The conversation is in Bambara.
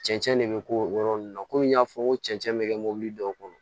Cɛncɛn de bɛ k'o yɔrɔ ninnu na komi n y'a fɔ n ko cɛncɛn bɛ kɛ mobili dɔw kɔnɔ